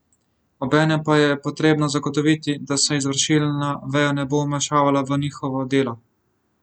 Obenem pa je potrebno zagotoviti, da se izvršilna veja ne bo vmešavala v njihovo delo.